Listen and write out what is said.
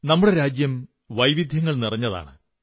നമ്മുടെ രാജ്യം വൈവിധ്യങ്ങൾ നിറഞ്ഞതാണ്